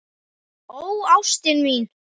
Ó ástin mín.